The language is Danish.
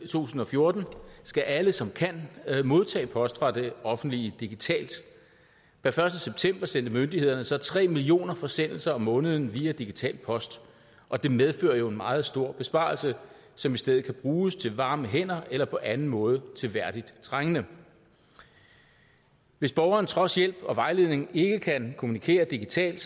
tusind og fjorten skal alle som kan modtage post fra det offentlige digitalt per første september sendte myndighederne så tre millioner forsendelser om måneden via digital post og det medfører jo en meget stor besparelse som i stedet kan bruges til varme hænder eller på anden måde til værdigt trængende hvis borgeren trods hjælp og vejledning ikke kan kommunikere digitalt